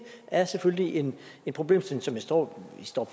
er selvfølgelig en problemstilling som vi står